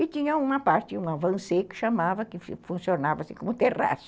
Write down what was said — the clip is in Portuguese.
E tinha uma parte, um avancê, que funcionava assim, como um terraço.